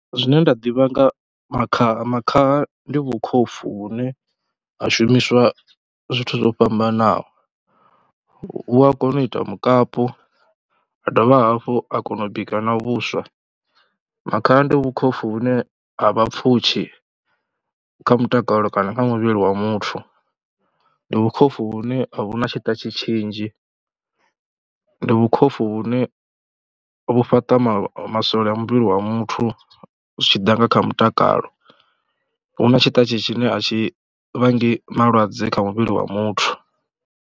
Zwine nda ḓivha nga makhaha, makhaha ndi vhukhopfhu vhune ha shumiswa zwithu zwo fhambanaho, vhu a kona u ita mukapu, ha dovha hafhu ha kona u bika na vhuswa. Makhaha ndi vhukhopfhu vhune ha vha pfhushi kha mutakalo kana kha muvhili wa muthu, ndi vhukhopfhu vhune a vhu na tshiṱatshi tshinzhi, ndi vhukhopfhu vhune vhu fhaṱa masole a muvhili wa muthu zwi tshi ḓa na kha mutakalo. Hu na tshiṱatshi tshine a tshi vhangi malwadze kha muvhili wa muthu.